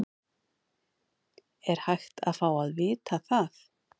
Er hægt að fá að vita það?